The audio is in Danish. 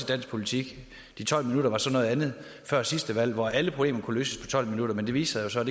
dansk politik de tolv minutter var så noget andet før sidste valg hvor alle problemer kunne løses på tolv minutter men det viste sig